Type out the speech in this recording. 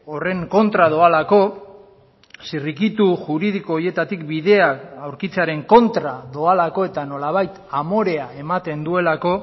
horren kontra doalako zirrikitu juridiko horietatik bidea aurkitzearen kontra doalako eta nolabait amorea ematen duelako